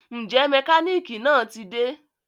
Njẹ mekaniki naa ti de?